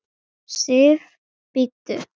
SIF, BÍDDU!